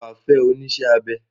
Ǹjẹ́ wà á fẹ́ onísẹ́-abẹ?